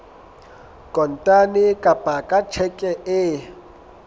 kontane kapa ka tjheke e